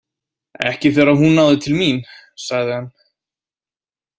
Ekki þegar hún náði til mín, sagði hann.